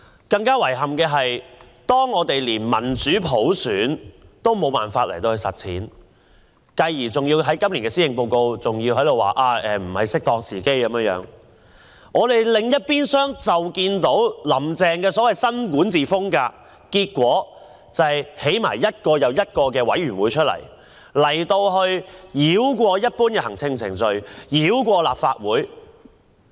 更遺憾的是，我們一方面無法實踐民主普選，今年的施政報告指仍未是適當時機重啟政改，但另一方面，"林鄭"所謂的新管治風格是成立一個又一個委員會，繞過一般的行政程序，繞過立法會。